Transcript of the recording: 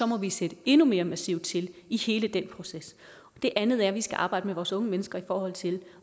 må vi sætte endnu mere massivt ind i hele den proces det andet er at vi skal arbejde med vores unge mennesker i forhold til